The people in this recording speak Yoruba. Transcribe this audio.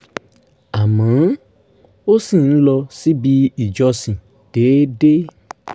àmọ́ ó ṣì ń lọ síbi ìjọsìn déédéé